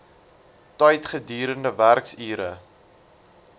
tyd gedurende werksure